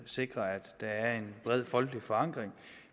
sikre at der er en bred folkelig forankring